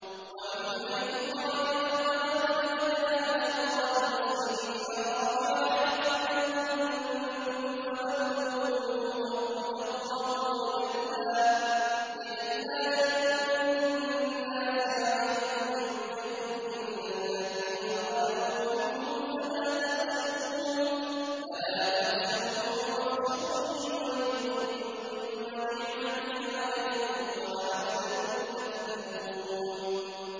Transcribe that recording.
وَمِنْ حَيْثُ خَرَجْتَ فَوَلِّ وَجْهَكَ شَطْرَ الْمَسْجِدِ الْحَرَامِ ۚ وَحَيْثُ مَا كُنتُمْ فَوَلُّوا وُجُوهَكُمْ شَطْرَهُ لِئَلَّا يَكُونَ لِلنَّاسِ عَلَيْكُمْ حُجَّةٌ إِلَّا الَّذِينَ ظَلَمُوا مِنْهُمْ فَلَا تَخْشَوْهُمْ وَاخْشَوْنِي وَلِأُتِمَّ نِعْمَتِي عَلَيْكُمْ وَلَعَلَّكُمْ تَهْتَدُونَ